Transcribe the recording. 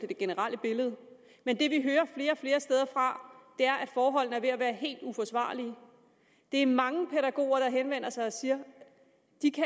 det generelle billede men det vi hører flere og flere steder fra er at forholdene er ved at være helt uforsvarlige det er mange pædagoger der henvender sig og siger